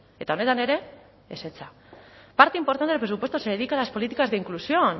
eta honetan ere ezetza parte importante del presupuesto se dedica a las políticas de inclusión